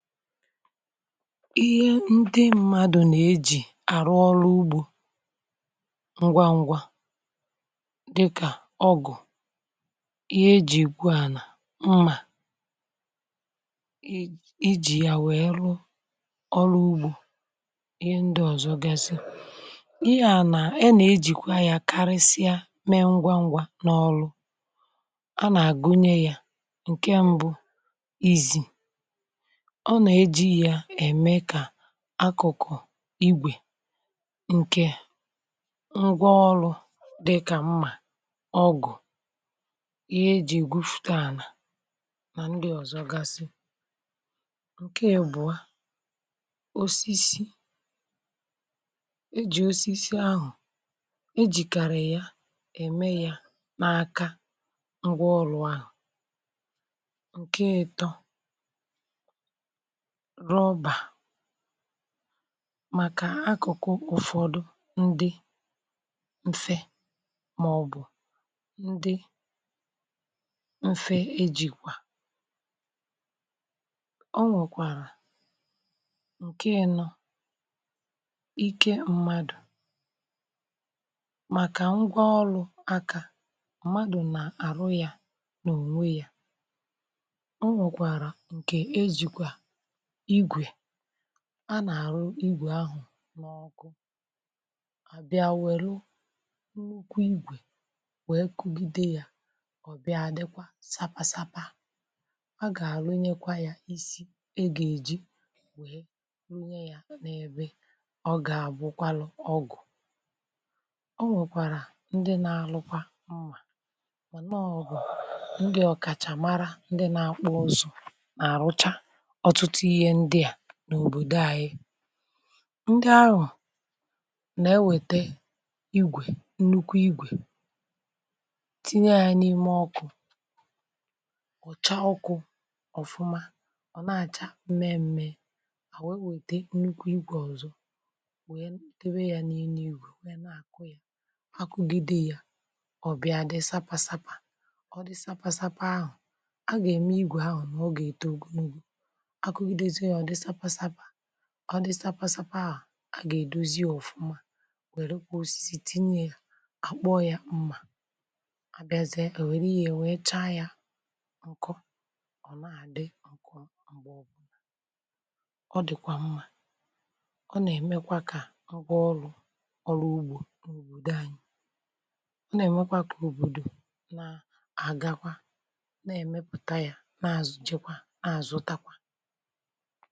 ihé ndị mmadụ̀ nà-ejì àrụ ọrụ ugbȯ ngwa ngwa dịkà ọgụ̀, ihé ejì egwu ànà, mmà iji̇ yá wèe rụ ọrụ ugbȯ ihé ndị ọ̀zọ gasị ihé a nà a nà-ejìkwa yá karịsịa mee ngwa ngwa n’ọlụ a nà-àgụnye yá. Nkè mbụ izi, ọ nà ejì yá ème kà akụ̀kụ̀ igwè ǹkè ngwa ọrụ̇ dị kà mmà, ọgụ̀, ihé e jì egwufùtè anà nà ndi ọ̀zọgasi. Nkè ịbụ̀ọ, osisi e jì osisi ahụ̀ e jì kàri yá ème yá n’aka ngwá ọrụ áhụ. Nkè ịtọ rọba, màkà akụ̀kụ̀ ụ̀fọdụ ndi mfė màọ̀bụ̀ ndị mfė ejìkwà ọ nwèkwàrà. Nkè ịnọ̇ ike mmadụ̀, màkà ngwa ọrụ̇ akȧ mmadụ̀ nà-àrụ yȧ nà ònwe yȧ o nwèkwàrà ǹkè ejìkwà igwè á ná arụ̀ ìgwè áhụ n’ọkụ à bịa wèrụ nnukwu igwè wèe kugide ya ọ̀ bịa dịkwa sapa sapa a gà-àrụ nyekwa ya isi e gà-èji wèe nwunye ya n’ebe ọ gà-àbụkwalụ ọgụ. O nwèkwàrà ndị na-alụkwa mmà mana ọgụ ndị ọ̀kàchà màrà ndị nà-akpụ ụzụ ná arụ̀ chá ọtụtụ ihé ndị a n'obodo ayị ndị áhụ na-ewete igwè nnukwu igwè tinye à n’ime ọkụ̇, ọ̀cha ọkụ̇ ọ̀fụma ọ̀ na-àcha mme m̀me, a wéé kwète nnukwu igwè ọ̀zọ wee debe ya na enu ìgwè wéé na-àkụ ya akụgide ya ọ̀ bịa dị sapa sapȧ ọ̀ dị sapa sapȧ ahụ̀ a gà ème ìgwè áhụ ọ gá eto ogologo akụgidezie yá ọ dị sapa sapȧ, ọ dị sapa sapȧ áhụ a gá edozi yá ọfụma wèrè kwá osisi tinyé yá a kpụọ yá mmà, abịa zie e wéré ihé wee chaa ya ọkụ ọ na-adị mgbé ọbụla. Ọ dịkwa mmà, ọ nà-ème kwà kà ọrụ ọrụ ugbo nà obodo ányị ná emé kwà kà obodo nà aga kwà nà èmepụ̀ta ya nà azụchi kwà nà azụ ta kwà.